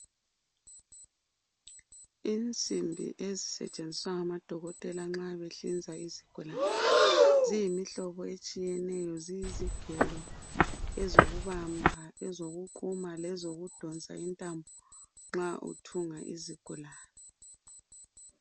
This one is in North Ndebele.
Insimbi ezisetshenziswa ngamadokotela nxa behlinza izigulane, ziyimihlobo etshiyeneyo. Ziyizigelo ezokubamba, ezokuquma, lezokudonsa intambo, nxa uthunga izigulane.